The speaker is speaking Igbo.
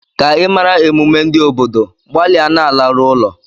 Ka ị mara emume ndị obodo, gbalịa na-alaru ụlọ.